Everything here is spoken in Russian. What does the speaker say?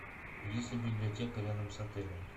есть ли библиотека рядом с отелем